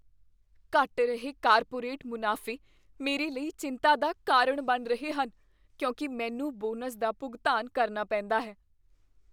ਘਟ ਰਹੇ ਕਾਰਪੋਰੇਟ ਮੁਨਾਫ਼ੇ ਮੇਰੇ ਲਈ ਚਿੰਤਾ ਦਾ ਕਾਰਨ ਬਣ ਰਹੇ ਹਨ, ਕਿਉਂਕਿ ਮੈਨੂੰ ਬੋਨਸ ਦਾ ਭੁਗਤਾਨ ਕਰਨਾ ਪੈਂਦਾ ਹੈ।